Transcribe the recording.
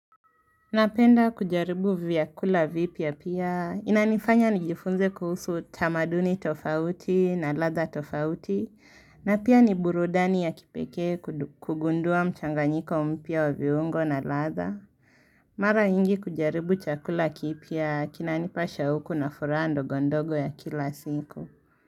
Napenda kujaribu vyakula vipya pia, inanifanya nijifunze kuhusu tamaduni tofauti na ladha tofauti, na pia ni burudani ya kipekee kugundua mchanganyiko mpya wa viungo na ladha. Mara nyingi kujaribu chakula kipya, kinanipa shauku na furaha ndogondogo ya kila siku.